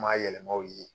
Maa yɛlɛmaw ye